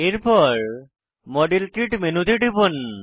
এরপর model kit মেনুতে টিপুন